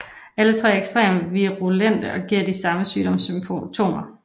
Alle tre er ekstremt virulente og giver de samme sygdomssymptomer